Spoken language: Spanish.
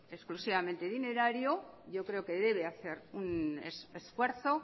exclusivamente dinerario yo creo que debe hacer un esfuerzo